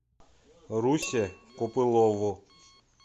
русе копылову